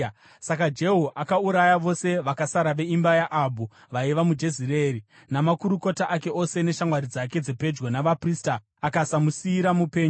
Saka Jehu akauraya vose vakasara veimba yaAhabhu vaiva muJezireeri, namakurukota ake ose, neshamwari dzake dzepedyo navaprista, akasamusiyira mupenyu.